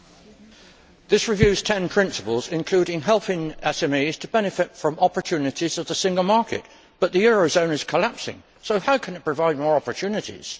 Mr President, this review's 10 principles include helping SMEs to benefit from opportunities of the single market, but the eurozone is collapsing, so how can it provide more opportunities?